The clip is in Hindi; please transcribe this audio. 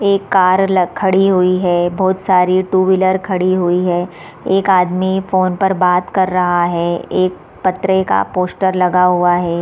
एक कार लाग खड़ी हुई है बहुत सारी टू व्हीलर खड़ी हुई हैं एक आदमी फोन पर बात कर रहा है एक पत्रिका पोस्टर लगा हुआ है।